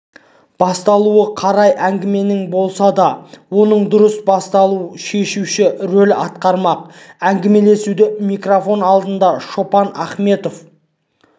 басталуы қай әңгіменің болса да оның дұрыс басталуы шешуші рөл атқармақ әңгімелесуді микрофон алдында шопан ахметов